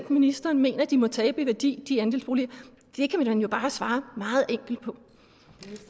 ministeren mener at de andelsboliger må tabe i værdi det kan man jo bare svare